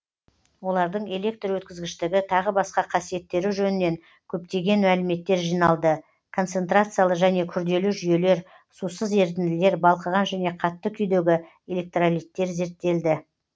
олардың электр өткізгіштігі тағы басқа қасиеттері жөнінен көптеген мәліметтер жиналды концентрациялы және күрделі жүйелер сусыз ерітінділер балқыған және қатты күйдегі электролиттер зерттелді